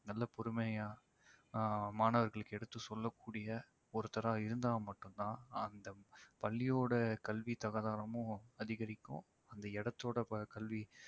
நல்ல பொறுமையா ஆஹ் மாணவர்களுக்கு எடுத்துச் சொல்லக்கூடிய ஒருத்தரா இருந்தா மட்டும் தான் அந்தப் பள்ளியோட கல்வித் தராதரமும் அதிகரிக்கும் அந்த இடத்தோட ப~ கல்வி